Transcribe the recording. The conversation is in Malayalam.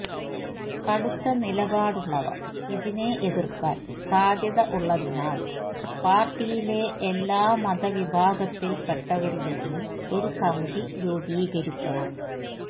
കടുത്ത നിലപാടുള്ളവര് ഇതിനെ എതിര്ക്കാന് സാധ്യത ഉള്ളതിനാല് പാര്ട്ടിയിലെ എല്ലാമതവിഭാഗത്തില്പ്പെട്ടവരുടെയും ഒരു സമിതി രൂപികരിക്കണം